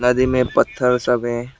नदी में पत्थर सब हैं।